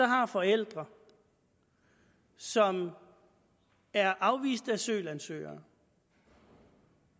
har forældre som er afviste asylansøgere